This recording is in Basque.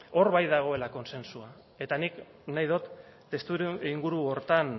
hor bai dagoela kontsentsua eta nik nahi dut estudioa inguru horretan